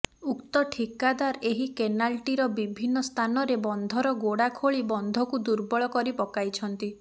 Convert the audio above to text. ଉକ୍ତ ଠିକାଦାର ଏହି କେନାଲଟିର ବିଭିନ୍ନ ସ୍ଥାନରେ ବନ୍ଧର ଗୋଡା ଖୋଳି ବନ୍ଧକୁ ଦୃର୍ବଳ କରି ପକାଇଛନ୍ତି